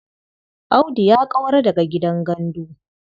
Audu ya ƙaura daga gidan gandu.